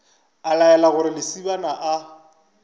a laela gore lesibana a